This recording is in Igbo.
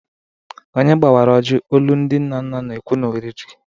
Onye gbawara ojii, olu ndị nna nna na-ekwu na oriri?